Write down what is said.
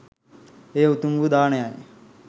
එය උතුම් වූ දානයයි